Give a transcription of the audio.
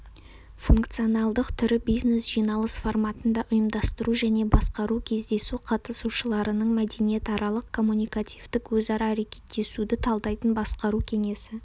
функционалдық түрі бизнес-жиналыс форматында ұйымдастыру және басқару кездесу қатысушыларының мәдениетаралық коммуникативтік өзара әрекеттесуді талдайтын басқару кеңесі